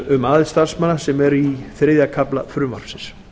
um aðild starfsmanna sem eru í þriðja kafla frumvarpsins